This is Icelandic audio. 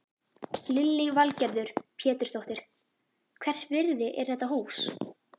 Lillý Valgerður Pétursdóttir: Hvers virði er þetta hús?